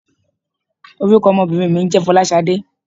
Orúkọ ọmọbìnrin mi ń jẹ́ "Folasade".